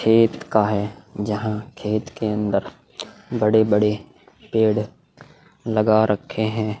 खेत का है जहाँ खेत के अंदर बड़े बड़े पेड़ लगा रखे है।